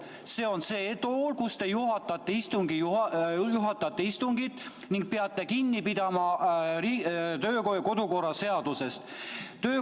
See on see tool, kus te juhatate istungit ning peate kinni pidama kodu- ja töökorra seadusest.